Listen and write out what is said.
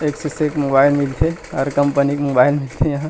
एक स सेक मोबाइल मिल थे हर कंपनी के मोबाइल मिलथे यहाँ--